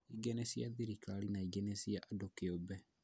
Ingĩ nĩ cia thirikari na ingĩ nĩ cia andũ kĩũmbe